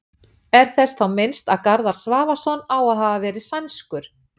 er þess þá minnst að garðar svavarsson á að hafa verið sænskur